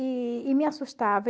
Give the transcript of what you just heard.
E e me assustava.